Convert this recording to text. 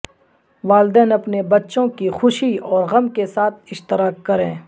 والدین اپنے بچوں کی خوشی اور غم کے ساتھ اشتراک کریں